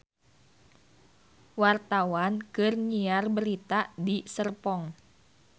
Wartawan keur nyiar berita di Serpong